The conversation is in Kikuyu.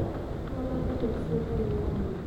tuonane rũciũ thaa inyanya